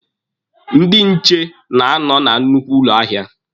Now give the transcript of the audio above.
Ndị nche na-anọ na nnukwu ụlọ ahịa.